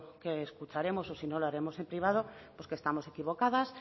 que escucharemos o si no lo haremos en privado pues que estamos equivocadas